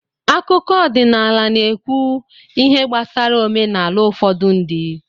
Akụkọ ọdịnala n'ekwu ihe gbasara omenala ufodu ndi